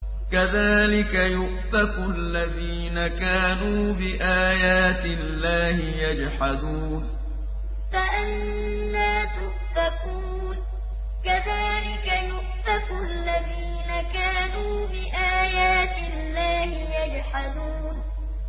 كَذَٰلِكَ يُؤْفَكُ الَّذِينَ كَانُوا بِآيَاتِ اللَّهِ يَجْحَدُونَ كَذَٰلِكَ يُؤْفَكُ الَّذِينَ كَانُوا بِآيَاتِ اللَّهِ يَجْحَدُونَ